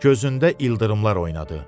Gözündə ildırımlar oynadı.